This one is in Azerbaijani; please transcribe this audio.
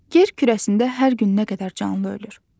Yer kürəsində hər gün nə qədər canlı ölür.